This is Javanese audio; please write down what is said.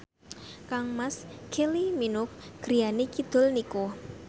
kangmas Kylie Minogue griyane kidul niku